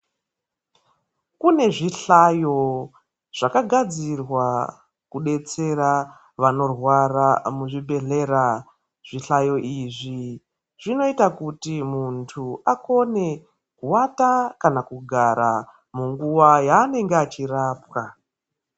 Kune zvihlayo zvakagadzira kudetsera vanorwara muzvibhedhlera. Zvihlayo izvi zvinoita kuti muntu akone kuwata kana kugara munguwa yaanenge achirapwa.